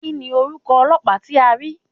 Kíni orúkọ ọlọ́pàá tí a rí?